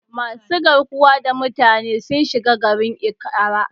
Masu garkuwa da mutane sun shiga garin Ikara.